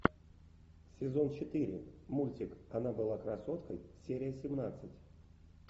сезон четыре мультик она была красоткой серия семнадцать